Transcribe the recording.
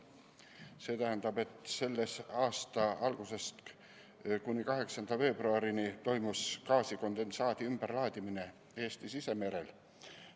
See tähendab, et selle aasta algusest kuni 8. veebruarini toimus gaasikondensaadi ümberlaadimine Eesti sisemerel.